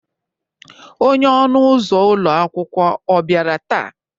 onye ọnụ ụzọ ụlọ akwụkwọ ọ bịara taa?